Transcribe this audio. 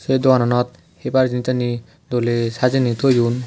sey dogananot heybar jinissani doley sajeney toyon.